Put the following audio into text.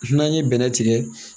N'an ye bɛnɛ tigɛ